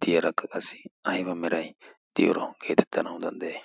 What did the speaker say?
diyaarakka qassi ayba meray diyooro geetettanawu danddayee